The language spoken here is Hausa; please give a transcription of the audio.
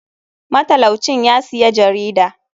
Matalau cin yasiya jarida.